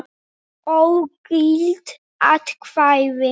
Ógild atkvæði